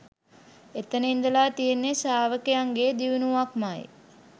එතැන ඉඳලා තියෙන්නේ ශ්‍රාවකයන්ගේ දියුණුවක්මයි